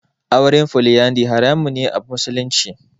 Auren Foliyandari haramun ne a musulunci.